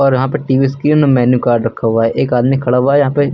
यहां पे TV screen और मेनू कार्ड रखा हुआ है एक आदमी खड़ा हुआ है यहां पे--